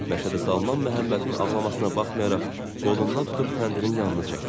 Məşədi Salman Məhəmmədin ağlamasına baxmayaraq qolundan tutub təndirin yanına çəkdi.